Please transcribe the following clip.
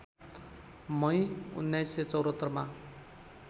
मई १९७४ मा